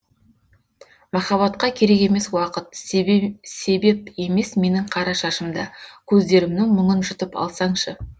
махаббатқа керек емес уақыт себеп емес менің қара шашым да көздерімнің мұңын жұтып алсаңшы